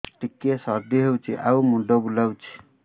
ଟିକିଏ ସର୍ଦ୍ଦି ହେଇଚି ଆଉ ମୁଣ୍ଡ ବୁଲାଉଛି